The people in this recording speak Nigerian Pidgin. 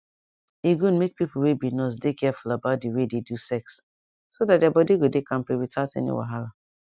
e good make people wey be nurse dey careful about the way they do sex so that their body go dey kampe without any wahala